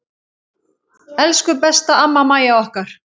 Elsku besta amma Mæja okkar.